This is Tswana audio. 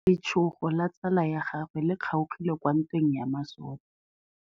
Letsôgô la tsala ya gagwe le kgaogile kwa ntweng ya masole.